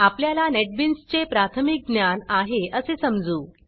आपल्याला नेटबीन्सचे प्राथमिक ज्ञान आहे असे समजू